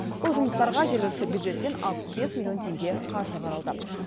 бұл жұмыстарға жергілікті бюжеттен алпыс бес миллион теңге қаржы қаралды